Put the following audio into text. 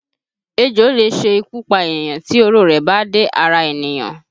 Ejò lè ṣe ikú pa ènìyàn tí oró rẹ̀ bá dé ara ènìyàn